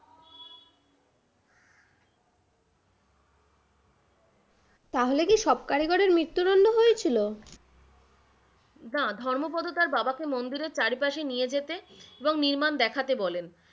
তাহলে কি সব কারিগরের মৃত্যুদণ্ড হয়ছিল? না, ধর্মোপদ তার বাবাকে মন্দিরের চারিপাশে নিয়ে যেতে এবং নির্মাণ দেখাতে বলেন,